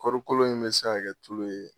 Kɔri kolo in bɛ se ka kɛ tulu ye